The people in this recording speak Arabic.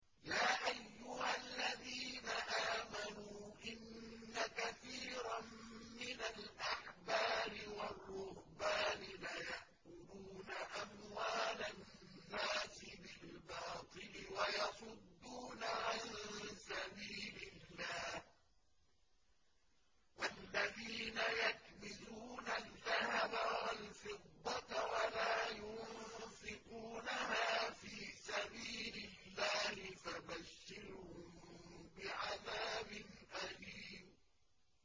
۞ يَا أَيُّهَا الَّذِينَ آمَنُوا إِنَّ كَثِيرًا مِّنَ الْأَحْبَارِ وَالرُّهْبَانِ لَيَأْكُلُونَ أَمْوَالَ النَّاسِ بِالْبَاطِلِ وَيَصُدُّونَ عَن سَبِيلِ اللَّهِ ۗ وَالَّذِينَ يَكْنِزُونَ الذَّهَبَ وَالْفِضَّةَ وَلَا يُنفِقُونَهَا فِي سَبِيلِ اللَّهِ فَبَشِّرْهُم بِعَذَابٍ أَلِيمٍ